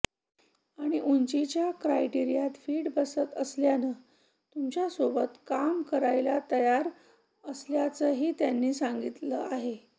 आणि उंचीच्या क्रायटेरियात फिट्ट बसत असल्यानं तुमच्यासोबत काम करायला तयार असल्याचंही त्यांनी लिहिलं आहे